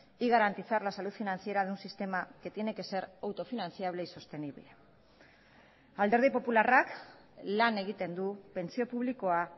y garantizar la salud financiera de un sistema que tiene que ser autofinanciable y sostenible alderdi popularrak lan egiten du pentsio publikoa